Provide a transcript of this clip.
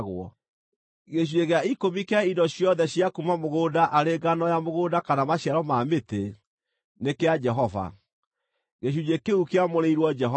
“ ‘Gĩcunjĩ gĩa ikũmi kĩa indo ciothe cia kuuma mũgũnda, arĩ ngano ya mũgũnda kana maciaro ma mĩtĩ, nĩ kĩa Jehova; gĩcunjĩ kĩu kĩamũrĩirwo Jehova.